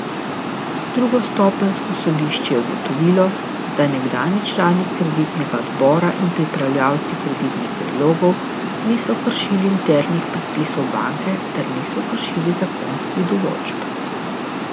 Drugostopenjsko sodišče je ugotovilo, da nekdanji člani kreditnega odbora in pripravljalci kreditnih predlogov niso kršili internih predpisov banke ter niso kršili zakonskih določb.